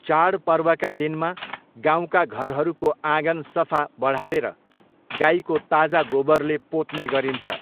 चाडपर्वका दिनमा गाउँका घरहरूको आँगन सफा बढारेर, गाइको ताजा गोबरले पोत्ने गरिन्छ।